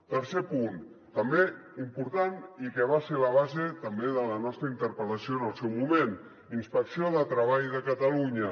tercer punt també important i que va ser la base també de la nostra interpel·lació en el seu moment inspecció de treball de catalunya